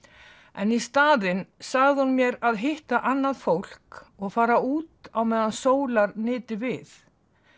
en í staðinn sagði hún mér að hitta annað fólk og fara út meðan sólar nyti við